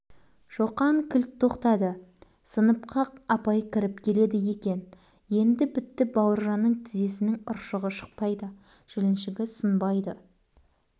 көресіні бұл көреді шоқан еңіреп жылап берді шоқан не болды саған апайға шоқан емес бүкіл сынып